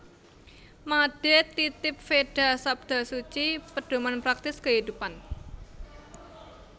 Made Titib Veda Sabda Suci Pedoman Praktis Kehidupan